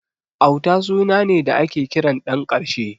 Auta suna ne da ake kiran ɗan ƙarshe.